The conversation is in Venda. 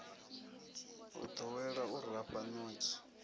o ḓowela u rafha ṋotshi